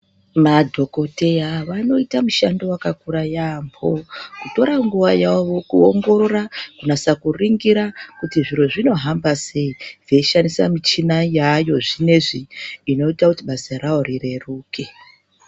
Madhokodheya vanoita mushando wakakura yambo kutora nguva yavo kuongorora kunasa kuringira kuti zviro zvinohamba sei veishandisa michina yayo zvinezvi inoita kuti basa ravo rireruke.